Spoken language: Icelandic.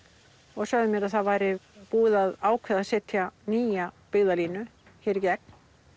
og sögðu mér að það væri búið að ákveða að setja nýja byggðarlínu hér í gegn